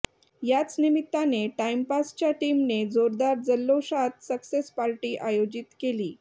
याच निमित्ताने टाइमपासच्या टीमने जोरदार जल्लोषात सक्सेस पार्टी आयोजित केली